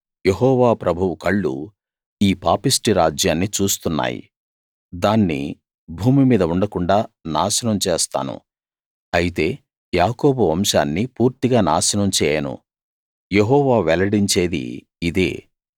యెహోవా ప్రభువు కళ్ళు ఈ పాపిష్ఠి రాజ్యాన్ని చూస్తున్నాయి దాన్ని భూమి మీద ఉండకుండాా నాశనం చేస్తాను అయితే యాకోబు వంశాన్ని పూర్తిగా నాశనం చేయను యెహోవా వెల్లడించేది ఇదే